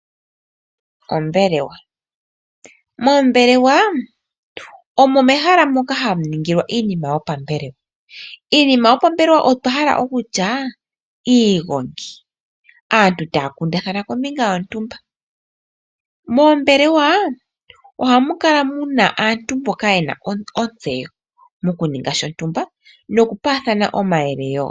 Moombelewa omo mehala moka hamu ningilwa iinima yopambelewa. Iinima yopambelewa ongaashi iigongi nenge aantu taya kundathana kombinga yoshinima shontumba. Moombelewa ohamu kala muna aantu mboka yena ontseyo mokuninga oshinima shontumba nokupaathana omayele woo.